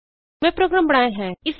ਮੈਂ ਪਹਿਲਾਂ ਹੀ ਇਕ ਪ੍ਰੋਗਰਾਮ ਬਣਾਇਆ ਹੈ